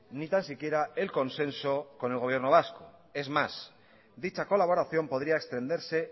ni tan siquiera el consenso con el gobierno vasco es más dicha colaboración podría extenderse